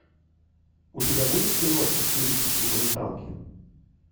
у тебя будет киношка в стилистике документалки